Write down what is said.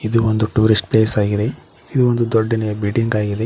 ಇದು ಒಂದು tourist place ಆಗಿದೆ ಇದು ಒಂದು ದೊಡ್ಡನೆಯ ಬಿಲ್ಡಿಂಗ್ ಆಗಿದೆ.